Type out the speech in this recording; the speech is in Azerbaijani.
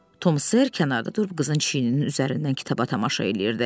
Tom Ser kənarda durub qızın çiyninin üzərindən kitaba tamaşa eləyirdi.